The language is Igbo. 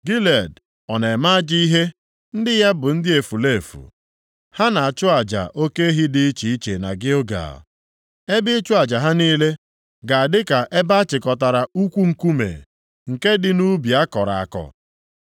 Gilead ọ na-eme ajọ ihe? Ndị ya bụ ndị efulefu. Ha na-achụ aja oke ehi dị iche iche na Gilgal? Ebe ịchụ aja ha niile ga a dịka ebe a chịkọtara ukwu nkume, nke dị nʼubi a kọrọ akọ.